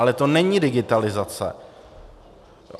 Ale to není digitalizace.